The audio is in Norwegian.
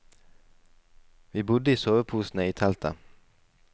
Vi bodde i soveposene i teltet.